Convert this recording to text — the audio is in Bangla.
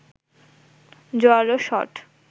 জোরালো শট